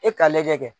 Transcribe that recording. E ka lajɛ kɛ